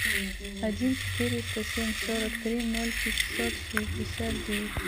один четыреста семь сорок три ноль пятьсот шестьдесят девять